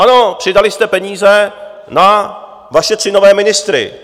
Ano, přidali jste peníze na vaše tři nové ministry.